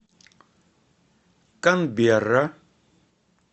канберра